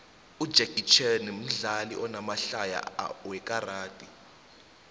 ujacky chain mdlali onamahlaya wekaxadi